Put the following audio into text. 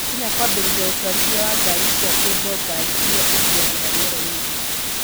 Kenya kwambĩria ũtwarithia wa ngari cia cable ngari irĩa ithiagĩra rĩerainĩ